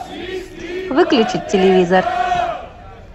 выключить телевизор